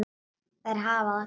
Þær hafa það gott.